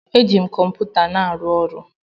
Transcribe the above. Eji m kọmputa m arụ ọrụ.